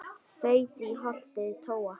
þaut í holti tóa